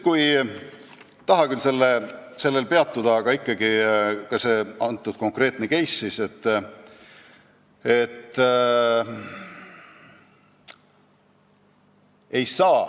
Ei taha küll sellel peatuda, aga ikkagi, see konkreetne case.